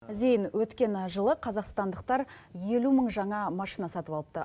зейін өткен жылы қазақстандықтар елу мың жаңа машина сатып алыпты